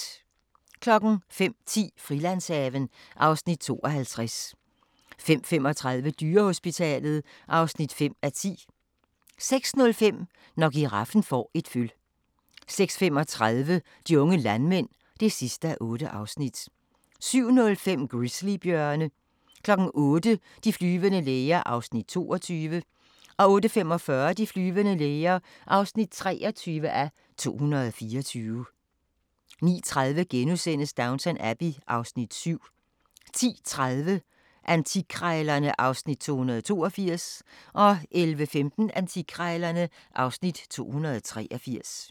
05:10: Frilandshaven (Afs. 52) 05:35: Dyrehospitalet (5:10) 06:05: Når giraffen får et føl 06:35: De unge landmænd (8:8) 07:05: Grizzly-bjørne 08:00: De flyvende læger (22:224) 08:45: De flyvende læger (23:224) 09:30: Downton Abbey (Afs. 7)* 10:30: Antikkrejlerne (Afs. 282) 11:15: Antikkrejlerne (Afs. 283)